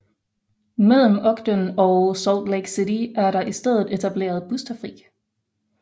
Mellem Ogden og Salt Lake City er der i stedet etableret bustrafik